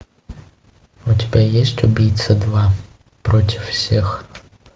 у тебя есть убийца два против всех